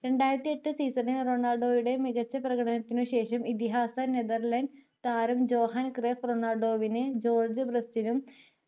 രണ്ടായിരത്തി എട്ട് season ണിൽ റൊണാൾഡോയുടെ മികച്ച പ്രകടനത്തിന് ശേഷം ഇതിഹാസ നെതെർലൻഡ് താരം ജോഹൻ ക്രിഫ് റൊണാൽഡോവിനു ജോർജ്ജ് ബ്രെസ്റ്റിനും